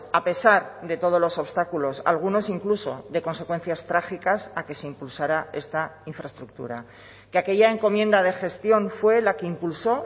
a pesar de todos los obstáculos algunos incluso de consecuencias trágicas a que se impulsara esta infraestructura que aquella encomienda de gestión fue la que impulsó